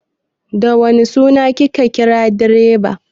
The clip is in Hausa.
Da wane suna ka kira direban?